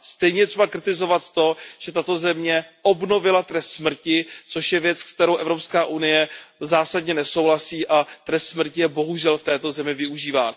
Stejně je třeba kritizovat to, že tato země obnovila trest smrti, což je věc, se kterou Evropská unie zásadně nesouhlasí, a trest smrti je bohužel v této zemi využíván.